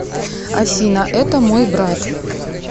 афина это мой брат